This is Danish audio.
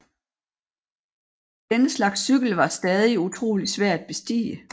Denne slags cykel var stadig utrolig svær at bestige